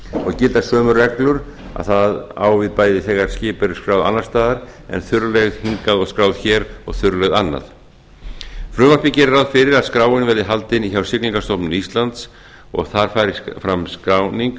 og gilda sömu reglur að það á við bæði þegar skip eru skráð annars staðar en þurrleigð hingað og skráð hér og þurrleigð annað frumvarpið gerir ráð fyrir að skráin verði haldin hjá siglingastofnun íslands og þar fari fram skráning